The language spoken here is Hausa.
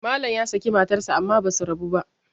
Malam ya saki matarsa amma ba su rabu ba